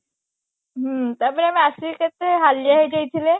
ହୁଁ ତାପରେ ଆମେ ଆସିକି କେତେ ହାଲିଆ ହେଇଯାଇଥିଲେ